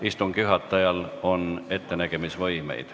Istungi juhatajal on ettenägemisvõimeid.